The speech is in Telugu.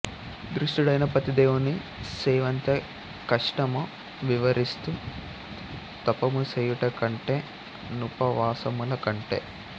దుష్టుడైన పతిదేవుని సేవెంత కష్టమో వివరిస్తూ తపముసేయుట కంటె నుపవాసములకంటె